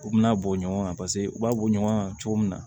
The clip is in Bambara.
U bina bɔ ɲɔgɔn kan paseke u b'a bɔ ɲɔgɔn na cogo min na